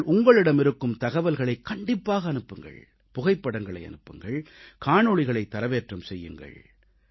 நீங்கள் உங்களிடமிருக்கும் தகவல்களைக் கண்டிப்பாக அனுப்புங்கள் புகைப்படங்களை அனுப்புங்கள் காணொளிகளைத் தரவேற்றம் செய்யுங்கள்